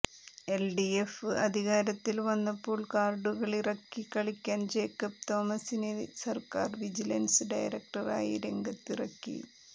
LDF അധികാരത്തിൽ വന്നപ്പോൾ കാർഡുകളിറക്കി കളിക്കാൻ ജേക്കബ് തോമസിനെ സർക്കാർ വിജിലൻസ് ഡയറകടറായി രംഗത്തിറക്കി